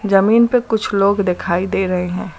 जमीन पे कुछ लोग दिखाई दे रहे हैं।